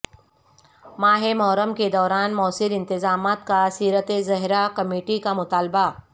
ماہ محرم کے دوران موثر انتظامات کا سیرت زہرا کمیٹی کا مطالبہ